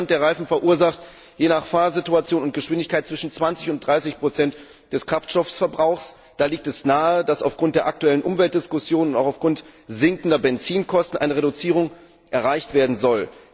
Der Rollwiderstand der Reifen verursacht je nach Fahrsituation und Geschwindigkeit zwischen 20 und 30 des Kraftstoffverbrauchs. Da liegt es nahe, dass aufgrund der aktuellen Umweltdiskussion und auch im Sinne sinkender Benzinkosten eine Reduzierung erreicht werden soll.